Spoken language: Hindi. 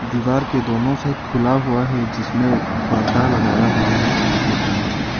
दीवार के दोनों साइड खुला हुआ है जिसमें परदा लगाया हुआ है सफेद रंग के।